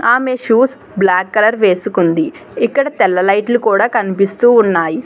ఆమే shoes black colour వేసుకుంది ఇక్కడ తెల్ల లైట్లు కూడా కనిపిస్తూ ఉన్నాయి.